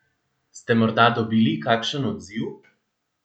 Ste morda dobili kakšen odziv?